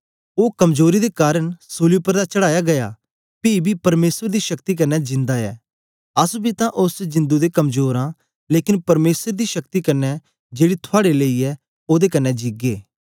ओ कमजोरी दे कारन सूली उपर तां चढ़ाया गीया पी बी परमेसर दी शक्ति कन्ने जिंदा ऐ अस बी तां ओस च जिदुं दे कमजोर आं लेकन परमेसर दी शक्ति कन्ने जेड़ी थुआड़े लेई ऐ ओदे कन्ने जिगे